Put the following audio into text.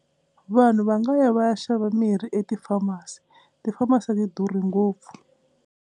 Vanhu va nga ya va ya xava mirhi e ti-pharmacy. Ti-pharmacy a ti durhi ngopfu.